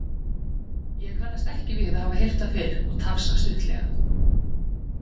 Ég kannast ekki við að hafa heyrt það fyrr og tafsa stuttlega.